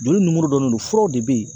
Joli nimoro dɔnnen do furaw de bɛ ye